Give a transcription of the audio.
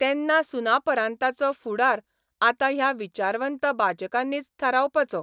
तेन्ना सुनापरान्ताचो फुडार आतां ह्या विचारवंत बाचकांनीच थारावपाचो.